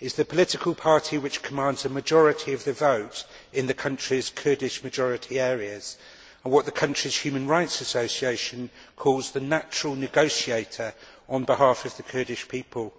is the political party which commands the majority of the vote in the country's Kurdish majority areas, and is what the country's human rights association calls the natural negotiator' on behalf of the Kurdish people.